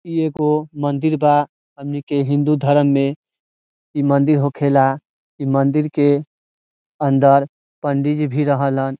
इ एगो मंदिर बा हमनी के हिंदू धर्म में इ मंदिर होखेला इ मंदिर के अंदर पंडित जी भी रहलहन।